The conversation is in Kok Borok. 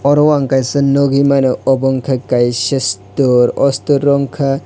oro ang kaisa nogoi mano obo wngka kaisa store o store o wngkha.